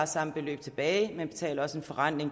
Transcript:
samme beløb tilbage man betaler også en forrentning